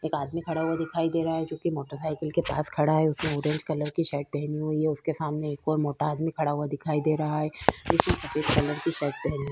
एक आदमी खड़ा हुआ दिखाई दे रहा है जोकि मोटर साइकिल के पास खड़ा है। उसने वूडन कलर की शर्ट पहनी हुई है। उसके सामने एक और मोटा आदमी खड़ा हुआ दिखाई दे रहा है जिसने सफ़ेद कलर की शर्ट पहनी --